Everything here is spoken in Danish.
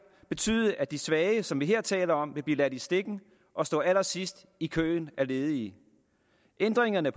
betyde at de svage som vi her taler om vil blive ladt i stikken og stå allersidst i køen af ledige ændringerne